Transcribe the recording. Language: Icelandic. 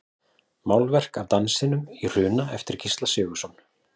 Málverk af Dansinum í Hruna eftir Gísla Sigurðsson.